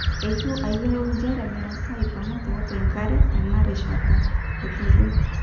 'Etu ayiolou njere mirasaa aipangu tiatua enkare tena rishata,''etejo.